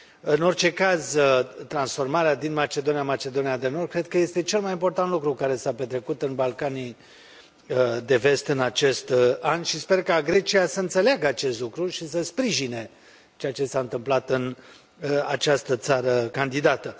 În orice caz, transformarea din Macedonia în Macedonia de Nord cred că este cel mai important lucru care s a petrecut în Balcanii de Vest în acest an și sper ca Grecia să înțeleagă acest lucru și să sprijine ceea ce s a întâmplat în această țară candidată.